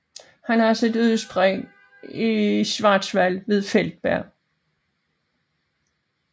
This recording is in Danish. Den har sit udspring i Schwarzwald ved Feldberg